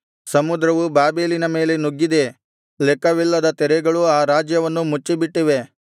ಸಮುದ್ರವು ಬಾಬೆಲಿನ ಮೇಲೆ ನುಗ್ಗಿದೆ ಲೆಕ್ಕವಿಲ್ಲದ ತೆರೆಗಳು ಆ ರಾಜ್ಯವನ್ನು ಮುಚ್ಚಿಬಿಟ್ಟಿವೆ